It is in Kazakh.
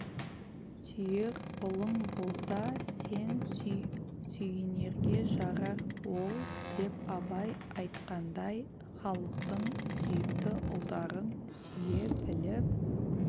сүйер ұлың болса сен сүй сүйінерге жарар ол деп абай айтқандай халықтың сүйікті ұлдарын сүйе біліп